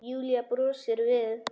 Júlía brosir við.